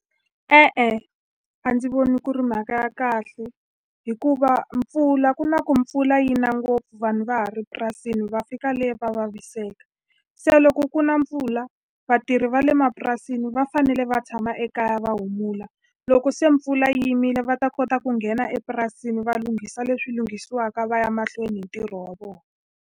E-e, a ndzi voni ku ri mhaka ya kahle hikuva mpfula ku na ku mpfula yi na ngopfu vanhu va ha ri purasini, va fika le va vaviseka. Se loko ku na mpfula vatirhi va le mapurasini va fanele va tshama ekaya, va humula loko se mpfula yi yimile. Va ta kota ku nghena epurasini va lunghisa leswi lunghisiwaka, va ya mahlweni hi ntirho wa vona.